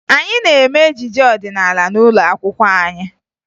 Anyị na-eme ejije ọdịnaala n'ụlọ akwụkwọ anyị